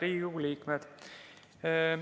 Head Riigikogu liikmed!